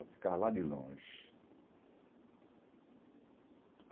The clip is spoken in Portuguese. Eu ficava lá de longe.